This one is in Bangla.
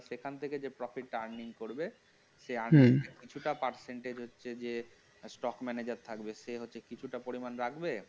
সেখান থেকে যে profit টা earning করবে সে earning হম কিছুটা percentage এ stock manager থাকবে সে হচ্ছে কিছুটা পরিমাণ রাখবে